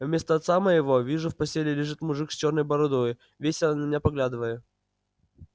вместо отца моего вижу в постеле лежит мужик с чёрной бородою весело на меня поглядывая